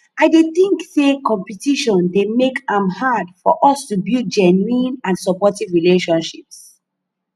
i dey think say competition dey make am hard for us to build genuine and supportive relationships